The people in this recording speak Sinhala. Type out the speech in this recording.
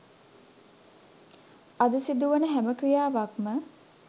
අද සිදුවන හැම ක්‍රියාවක්ම